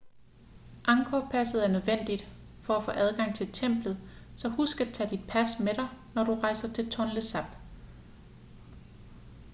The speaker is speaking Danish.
angkor-passet er nødvendigt for at få adgang til templet så husk at tage dit pas med dig når du rejser til tonle sap